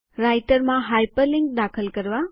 રાઈટરમાં હાઇપરલિન્ક દાખલ કરવા